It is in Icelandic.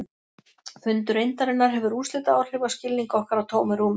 Fundur eindarinnar hefur úrslitaáhrif á skilning okkar á tómu rúmi.